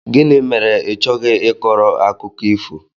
Gịnị mere ị chọghị ị kọrọ akụkọ ifo?